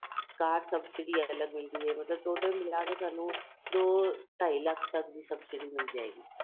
ਕਾਰ subsidy ਅਲੱਗ ਮਿਲਦੀ ਏ ਮਤਲਬ total ਮਿਲਾਕੇ ਸਾਨੂੰ ਦੋ ਢਾਈ ਲੱਖ਼ ਤੱਕ ਦੀ ਸਭਸਿਡੀ ਮਿਲ ਜਾਏਗੀ